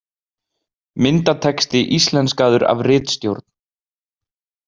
Myndatexti íslenskaður af ritstjórn.